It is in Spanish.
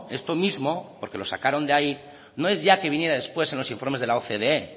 esto mismo porque lo sacaron de ahí no es ya que viniera después en los informes de la ocde